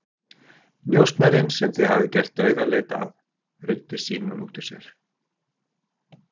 Njósnarinn sem þið hafið gert dauðaleit að, ruddi Símon út úr sér.